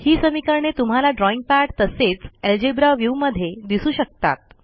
ही समीकरणे तुम्हाला drawing pad तसेच अल्जेब्रा व्ह्यू मध्ये दिसू शकतात